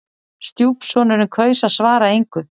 Stjúpsonurinn kaus að svara engu.